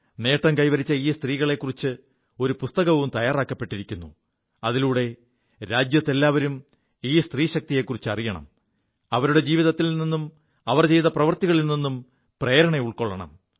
നേം കൈവരിച്ച ഈ സ്ത്രീകളെക്കുറിച്ച് ഒരു പുസ്തകവും തയ്യാറാക്കപ്പെിരിക്കുു അതിലൂടെ രാജ്യത്തെല്ലാവരും ഈ സ്ത്രീശക്തിയെക്കുറിച്ച് അറിയണം അവരുടെ ജീവിതത്തിൽ നിും അവർ ചെയ്ത പ്രവൃത്തികളിൽ നിും പ്രേരണ ഉൾക്കൊള്ളണം